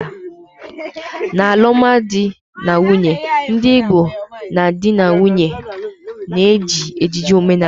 n'alụmdi na nwunye ndị Igbo, ndị di na nwunye na-eji ejiji omenala